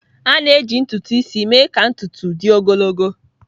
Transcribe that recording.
A na-eji ntutu isi mee ka ntutu dị ogologo.